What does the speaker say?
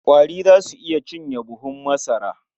Ƙwari za su iya cinye buhun masara.